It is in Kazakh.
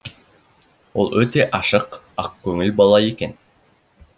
ол өте ашық ақкөңіл бала екен